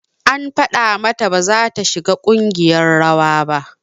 An faɗa mata baza ta shiga ƙungiyar rawa ba